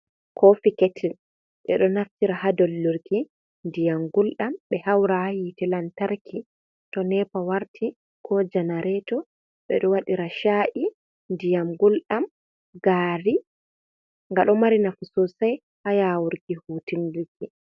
Kofi ketil ɓe ɗo naftira ha dollurki ndiyam gulɗam, ɓe haura ha hite lantarki to nepa warti ko janareto, ɓe ɗo wadira shayi, ndiyam gulɗam, gari, nga ɗo mari nafu sosai ha yawurki hutindirki.